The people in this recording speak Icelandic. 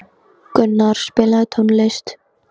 Gunnar, spilaðu tónlist.